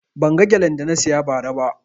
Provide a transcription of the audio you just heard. Ban ga gelen da na siya ba ra ba